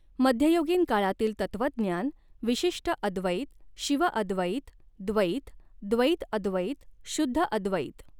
मध्ययुगीन काळातील तत्वज्ञान विशिष्टअद्वैत शिवअद्वैत द्वैत द्वैतअद्वैत शुध्दअद्वैत.